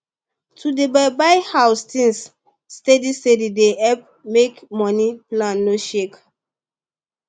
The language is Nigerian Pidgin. to dey buy buy house things steady steady dey help make money plan no shake